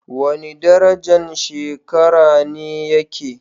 Wani darajan shekara ne yake?